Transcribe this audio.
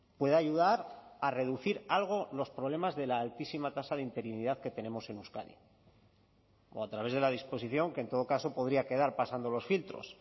puede ayudar a reducir algo los problemas de la altísima tasa de interinidad que tenemos en euskadi o a través de la disposición que en todo caso podría quedar pasando los filtros